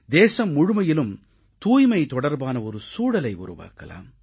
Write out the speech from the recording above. தேசம் முழுமையிலும் தூய்மை தொடர்பான ஒரு சூழலை உருவக்கலாம்